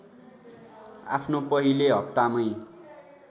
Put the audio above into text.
आफ्नो पहिले हप्तामै